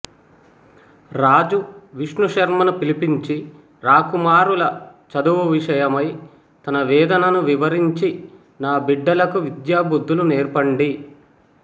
రాజు విష్ణుశర్మను పిలిపించి రాకుమారుల చదువు విషయమై తన వేదనను వివరించి నా బిడ్డలకు విద్యా బుద్ధులు నేర్పండి